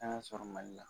An ka sɔrɔ mali la